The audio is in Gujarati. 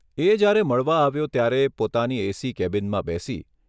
એ જ્યારે મળવા આવ્યો ત્યારે પોતાની એ.સી કેબિનમાં બેસી.